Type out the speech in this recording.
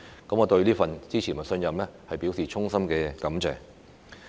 我對於這份支持和信任，表示衷心感謝。